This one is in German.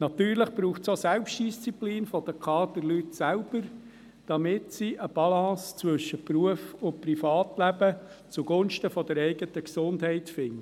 Natürlich braucht es auch Selbstdisziplin der Kaderleute selber, damit sie eine Balance zwischen Beruf und Privatleben zugunsten der eigenen Gesundheit finden.